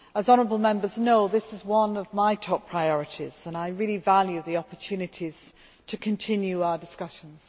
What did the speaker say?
As honourable Members know, this is one of my top priorities, and I really value the opportunities to continue our discussions.